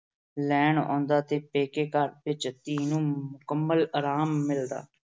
ਲੈਣ ਆਉਂਦਾ ਤੇ ਪੇਕੇ ਘਰ ਵਿੱਚ ਧੀ ਨੂੰ ਮੁਕੰਮਲ ਆਰਾਮ ਮਿਲਦਾ।